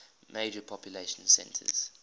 major population centers